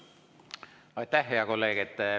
Aitäh, hea kolleeg!